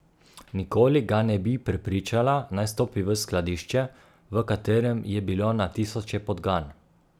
Nikoli ga ne bi prepričala, naj stopi v skladišče, v katerem je bilo na tisoče podgan.